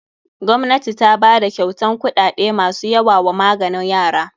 Gwamnati ta bada kyautan kuɗaɗe masu yawa wa maganin yara.